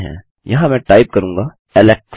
यहाँ मैं टाइप करूँगा Alex